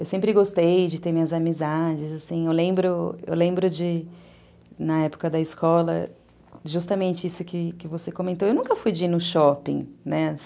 Eu sempre gostei de ter minhas amizades, assim, eu lembro de, de na época da escola, justamente isso que você que você comentou, eu nunca fui de ir no shopping, né?